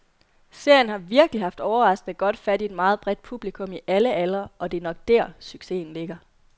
Serien har virkeligt haft overraskende godt fat i et meget bredt publikum i alle aldre, og det er nok der, succesen ligger.